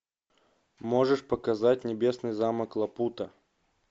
можешь показать небесный замок лапута